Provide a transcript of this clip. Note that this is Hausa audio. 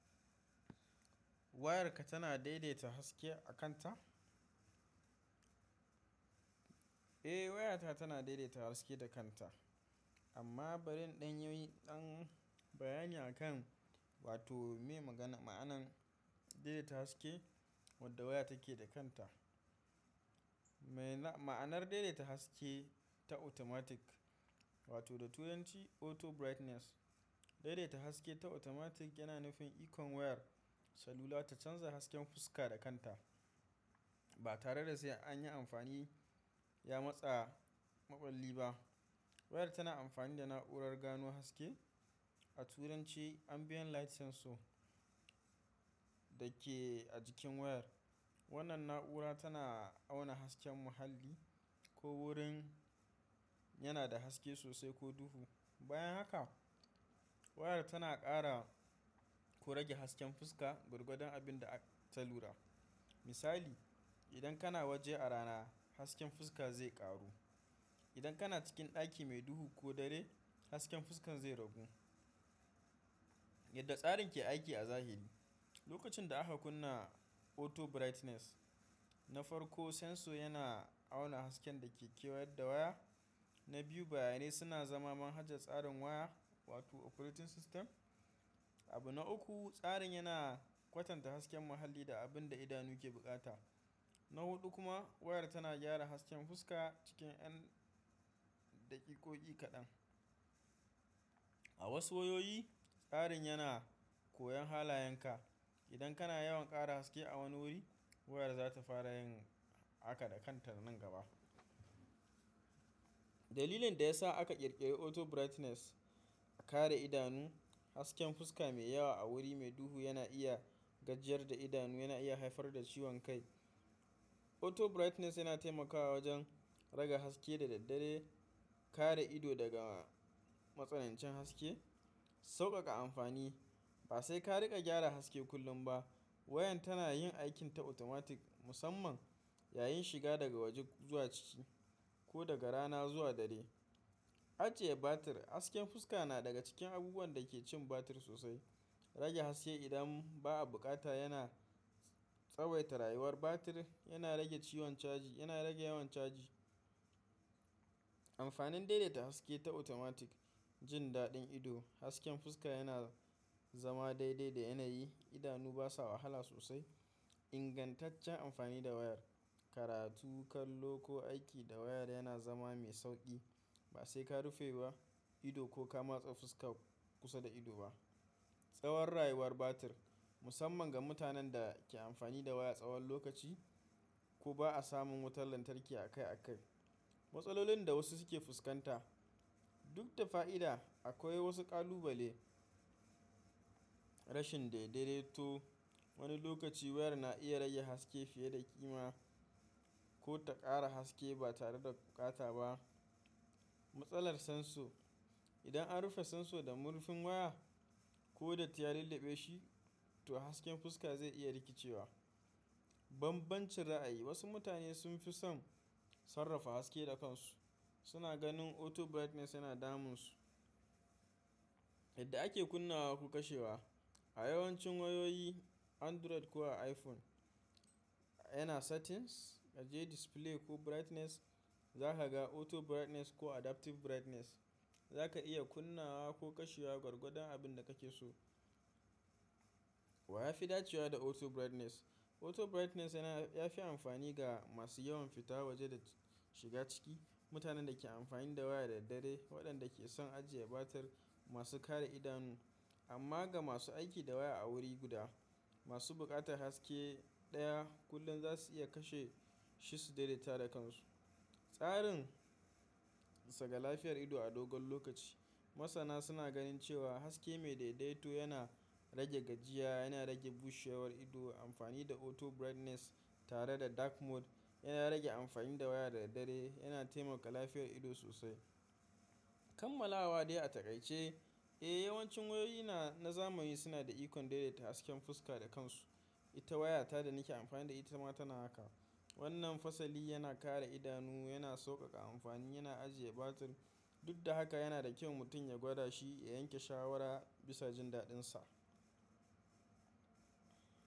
Wayarka tana daidaita haske a kanta? Eh wayata tana daidaita haske da kanta amma bari ɗan yi ɗan bayani akan wato mai magana ma'anan daidaita haske wadda waya take da kanta. Mai na-ma'anar daidaita haske ta automatic wato da turanci auto brightness, daidaita haske ta automatic yana nufin ikon wayar salula ta canza hasken fuska da kanta ba tare da sai an yi amfani ya matsa maɓalli ba. Wayar tana amfani da na'urar gano haske a turanci ambient light sensor da ke a jikin wayar. Wannan na'ura tana auna hasken muhalli ko wurin yana da haske sosai ko duhu. Bayan haka wayar tana ƙara ko rage hasken fuska gwargwadon abin da aka ta lura. Misali, idan kana waje a rana hasken fuska zai ƙaru. Idan kana cikin ɗaki mai duhu ko dare hasken fuskan zai ragu. Yadda tsarin ke aiki a zahiri, lokacin da aka kunna auto brightness na farko sensor yana auna hasken da ke kewaye da waya. Na biyu bayanai suna zama manhajar tsarin waya wato operating system. Abu na uku tsarin yana kwatanta hasken muhalli da abin da idanu ke bukata. Na huɗu kuma wayar tana gyara hasken fuska cikin yan daƙiƙoyi kaɗan. A wasu wayoyi tsarin yana koyon halayenka. Idan kana yawan ƙara haske a wani wuri wayar za ta fara yin haka da kanta nan gaba. Dalilin da ya sa aka ƙirƙiri auto brightness, a kare idanu hasken fuska mai yawa a wuri mai duhu yana iya gajiyar da idanu yana iya haifar da ciwon kai. Auto brightness yana taimakawa wajen rage haske da daddare, kare ido daga matsanancin haske, sauƙaƙa amfani ba sai ka riƙa gyara haske kullum ba. Wayan tana yin aikin ta automatic musamman yayin shiga daga waje zuwa ciki ko daga rana zuwa dare. Ajiye batir, hasken fuska na daga cikin abubuwan da ke cin batir sosai. Rage haske idan ba a bukata yana tsawaita rayuwar batir, yana rage ciwon caji yana rage yawan caji. Amfanin daidaita haske ta automatic jin daɗin ido hasken fuska yana zama daidai da yanayi. Idanu basa wahala sosai. Ingantaccen amfani da wayar, karatu, kallo ko aiki da waya yana zama mai sauƙi ba sai ka rufe ba ido ko ka matse fuska kusa da ido ba. Tsawon rayuwar batir musamman ga mutanen da ke amfani da waya tsawon lokaci ko ba a samun wutar lantarki akai akai. Matsalolin da wasu suke fuskanta, duk da fa'ida akwai wasu ƙalubale. Rashin daidaito, wani lokaci wayar na iya raye haske fiye da ƙima ko ta ƙara haske ba tare da bukata ba. Matsalar sensor, idan an rufe sensor da murfin waya ko da tiyal dabe shi to hasken fuska zai iya rikicewa. Banbancin ra'ayi, wasu mutane sun fi son sarrafa haske da kansu. Suna ganin auto brightness yana damunsu. Yadda ake kunnawa ko kashewa, a yawancin wayoyi Android ko a iPhone yana settings, aje display ko brightness za ka ga auto brightness ko adaptive brightness. Za ka iya kunnawa ko kashewa gwargwadon abin da kake so. Wa ya fi dacewa da auto brightness? Auto brightness yana ya fi amfani ga masu yawan fita waje da shiga ciki, mutanen da ke amfani da waya da daddare, waɗanda ke son ajiye batir, masu kare idanu amma ga masu aiki da waya a wuri guda, masu buƙatar haske ɗaya kullum za su iya kashe shi su daidaita da kansu. Tsarin sa ga lafiyar ido a dogon lokaci, masana suna ganin cewa haske mai daidaito yana rage gajiya, yana rage bushewar ido. Amfani da auto brightness tare da dark mode yana rage amfani da waya da daddare yana taimaka lafiyar ido sosai. Kamala waɗai a taƙaice, eh yawancin wayoyi na zamani suna da ikon daidaita hasken fuska da kansu. Ita wayata da nake amfani da ita ma tana haka. Wannan fasali yana kare idanu, yana sauƙaƙa amfani, yana ajiye batir duk da haka yana da kyau mutum ya gwada shi ya yanke shawara bisa jin daɗinsa.